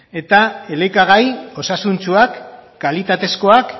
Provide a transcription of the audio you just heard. eta elikagai osasuntsuak kalitatezkoak